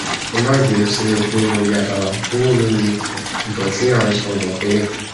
ẹ má bínú sí mi pé mo yá bàrá kúrò lórí ìtàn tí à ń à ń sọ bọ tẹlẹ